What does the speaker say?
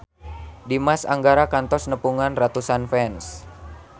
Dimas Anggara kantos nepungan ratusan fans